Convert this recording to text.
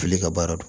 Fili ka baara don